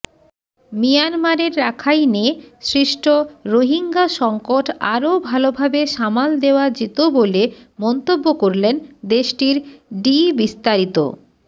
মিয়ানমারের রাখাইনে সৃষ্ট রোহিঙ্গা সংকট আরও ভালোভাবে সামাল দেওয়া যেত বলে মন্তব্য করলেন দেশটির ডিবিস্তারিত